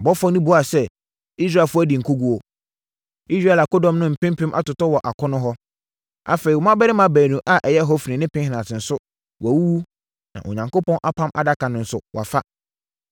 Ɔbɔfoɔ no buaa sɛ, “Israelfoɔ adi nkoguo. Israel akodɔm no mpem mpem atotɔ wɔ akono hɔ. Afei, wo mmammarima baanu a ɛyɛ Hofni ne Pinehas no nso wɔawuwu, na Onyankopɔn Apam Adaka no nso, wɔafa.”